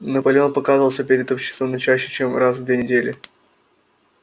наполеон показывался перед обществом не чаще чем раз в две недели